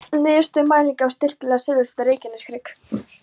Niðurstöður mælinga á styrkleika segulsviða á Reykjaneshrygg.